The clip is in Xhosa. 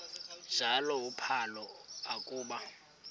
njalo uphalo akuba